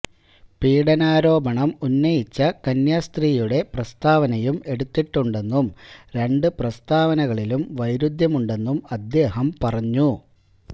പീഡനാരോപണം ഉന്നയിച്ച കന്യാസ്ത്രീയുടെ പ്രസ്താവനയും എടുത്തിട്ടുണ്ടെന്നും രണ്ട് പ്രസ്താവനകളിലും വൈരുദ്ധ്യമുണ്ടെന്നും അദ്ദേഹം പറഞ്ഞു